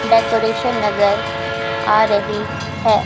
Decoration नजर आ रही है।